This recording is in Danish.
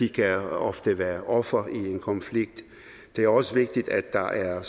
kan ofte være offer i en konflikt det er også vigtigt at der er